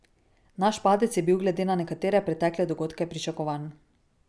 Naš padec je bil glede na nekatere pretekle dogodke pričakovan.